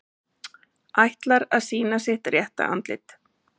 Ætlar að sýna sitt rétta andlit